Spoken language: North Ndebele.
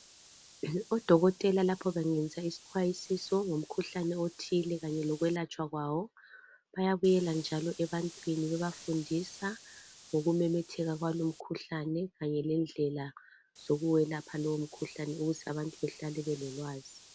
Odokotela lapha bangenisa isixwayisiso ngomkhuhlane othile kanye lokwelatshwa kwawo. Bayabuyela njalo ebantwini bebafundisa ngokumemetheka kwalo umkhuhlane kanye lendlela zokuwelapha lowo mkhuhlane ukuze abantu behlale belolwazi.